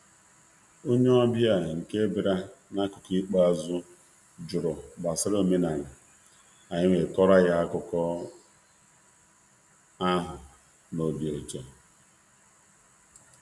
um Otu onye um ọbịa nke nkeji ikpeazụ jụrụ ajụjụ banyere ọdịnala ahụ, anyị jikwa obi ụtọ kọọrọ ha otu osi mmalite